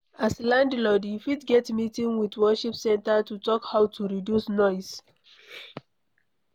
As landlord, you fit get meeting with worship centre to talk how to reduce noise